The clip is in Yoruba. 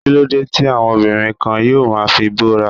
Kíló dé tí àwọn obìnrin kan yóò ma fi bóra?